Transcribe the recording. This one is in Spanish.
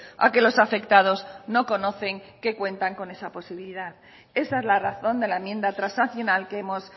a que los afectados no conocen que cuentan con esa posibilidad esa es la razón de la enmienda transaccional que hemos